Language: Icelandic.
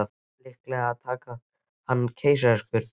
Það þarf líklega að taka hann með keisaraskurði.